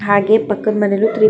ಹಾಗೆ ಪಕ್ಕದ ಮನೆಲ್ಲಿ ತೂ --